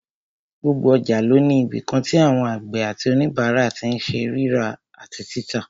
Gbogbo ọjà ló ní ibìkan tí àwọn àgbẹ̀ àti òníbàárà tí n ṣe rírà àti títà